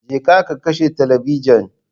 Je ka ka kashe talabijin